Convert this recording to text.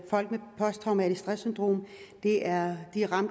posttraumatisk stresssyndrom er